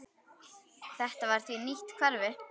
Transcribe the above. Þetta var því nýtt hverfi.